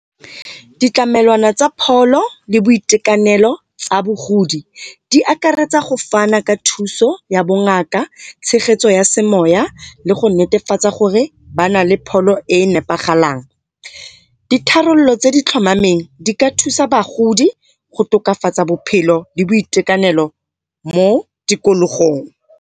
Ditlamelwana tsa pholo le boitekanelo tsa bogodi di akaretsa go fana ka thuso ya bongaka tshegetso ya se moya le go netefatsa gore ba nale pholo e e nepagalang. Ditharololo tse di tlhomameng di ka thusa bagodi go tokafatsa bophelo le boitekanelo mo tikologong.